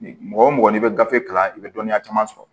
Mɔgɔ wo mɔgɔ n'i bɛ gafe kalan i bɛ dɔnniya caman sɔrɔ